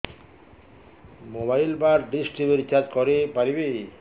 mobile ବା dish TV recharge କରି ପାରିବି